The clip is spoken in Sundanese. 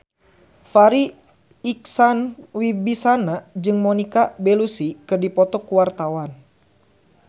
Farri Icksan Wibisana jeung Monica Belluci keur dipoto ku wartawan